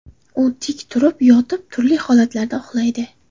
U tik turib, yotib, turli holatlarda uxlaydi.